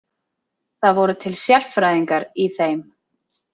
Það voru til sérfræðingar í þeim.